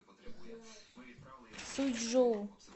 суйчжоу